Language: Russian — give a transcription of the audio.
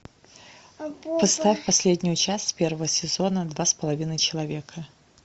поставь последнюю часть первого сезона два с половиной человека